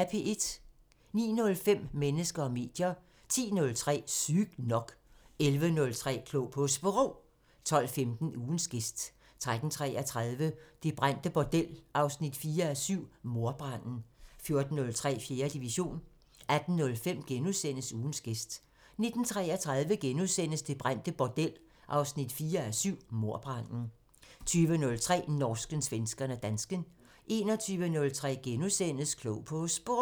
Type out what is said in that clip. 09:05: Mennesker og medier 10:03: Sygt nok 11:03: Klog på Sprog 12:15: Ugens gæst 13:33: Det brændte bordel 4:7 – Mordbranden 14:03: 4. division 18:05: Ugens gæst * 19:33: Det brændte bordel 4:7 – Mordbranden * 20:03: Norsken, svensken og dansken 21:03: Klog på Sprog *